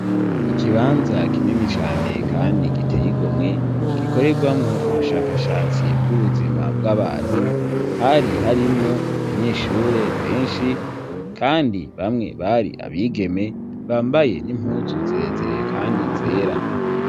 Ikibanza kinini cane kandi giteyigomwe gikoregwamwo ubushakashatsi bw'ubuzima bw'abantu hari harimwo abanyeshure benshi kandi bamwe bari abigeme bambaye n'impuzu zirezire kandi zera.